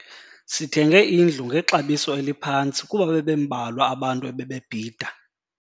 Sithenge indlu ngexabiso eliphantsi kuba bebembalwa abantu ebebebhida.